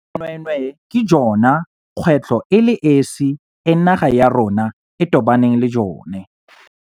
Bonweenwee ke jone kgwetlho e le esi e naga ya rona e tobaneng le jone.